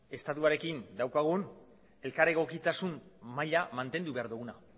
estatuarekin daukagun elkar egokitasun maila mantendu behar duguna